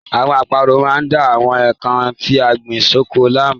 Àwọn àparò máa ń da àwọn nnkan tí a gbìn sóko láàmú.